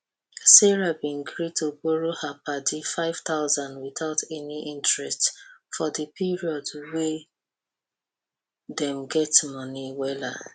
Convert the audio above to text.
sarah bin gree to borrow her padi five thousand without any interest for di period wen dem get money wella